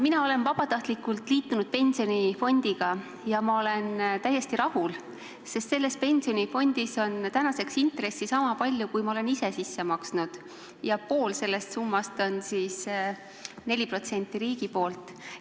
Mina olen vabatahtlikult liitunud pensionifondiga ja ma olen täiesti rahul, sest minu pensionikontol on tänaseks intressi sama palju, kui ma olen ise sisse maksnud, ja pool sellest summast on see 4% riigi poolt.